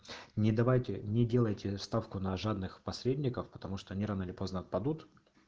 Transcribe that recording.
не давайте не делайте ставку на жадных посредников потому что они рано или поздно отпадут